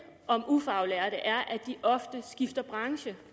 om ufaglærte er at de ofte skifter branche